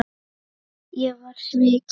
Ég var svikinn